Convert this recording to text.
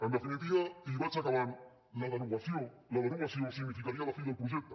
en definitiva i vaig acabant la derogació la derogació significaria la fi del projecte